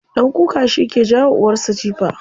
Ɗan kuka shike jawa uwarsa jifa.